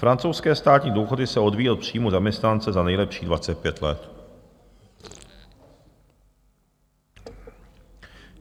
Francouzské státní důchody se odvíjejí od příjmů zaměstnance za nejlepších 25 let.